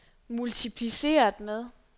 multipliceret med